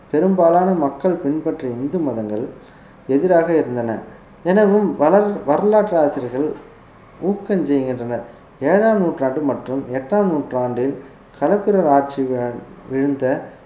பெரும்பாலான மக்கள் பின்பற்றிய இந்து மதங்கள் எதிராக இருந்தன எனவும் வர~ வரலாற்று ஆசிரியர்கள் ஊக்கம் செய்கின்றனர் ஏழாம் நூற்றாண்டு மற்றும் எட்டாம் நூற்றாண்டில் களப்பிரர் ஆட்சி வீழ்ந்த